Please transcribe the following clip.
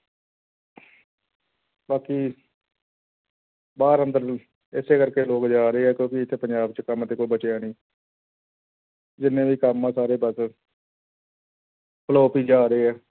ਬਾਕੀ ਬਾਹਰ ਅੰਦਰ ਨੂੰ ਇਸੇ ਕਰਕੇ ਲੋਕ ਜਾ ਰਹੇ ਆ ਕਿਉਂਕਿ ਇੱਥੇ ਪੰਜਾਬ 'ਚ ਕੰਮ ਤੇ ਕੋਈ ਬਚਿਆ ਨੀ ਜਿੰਨੇ ਵੀ ਕੰਮ ਆ ਸਾਰੇ ਬਸ flop ਹੀ ਜਾ ਰਹੇ ਹੈ।